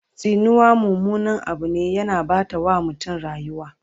Tsinuwa mummunan Abu ne, yana Ɓata wa mutum rayuwa